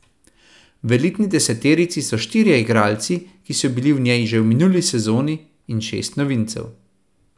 V elitni deseterici so štirje igralci, ki so bili v njej že v minuli sezoni, in šest novincev.